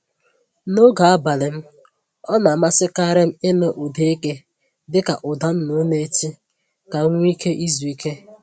N’oge abalị m ọ na amasịkarị m ịnụ ụda eke dịka ụda nnụnụ na-eti ka m nwe ike izu ike.